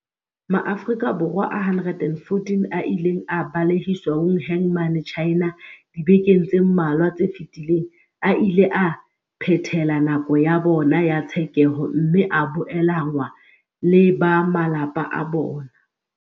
Maafrika Borwa a 114 a ileng a balehiswa Wuhan mane China dibekeng tse mmalwa tse fetileng a ile a phethela nako ya bona ya tshekeho mme a boelanngwa le ba malapa a bona.